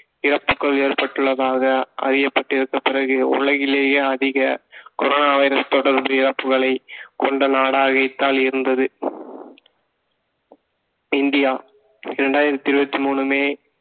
இறப்புகள் ஏற்பட்டுள்ளதாக அறியப்பட்டிருந்த பிறகு உலகிலேயே அதிக corona வைரஸ் தொடர்பு இறப்புகளை கொண்ட நாடாகத்தான் இருந்தது இந்தியா இரண்டாயிரத்தி இருபத்தி மூணு மே